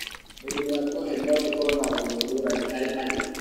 Mĩrimũ ya Cohen no ĩkorũo na ngumo ngũrani harĩ andũ.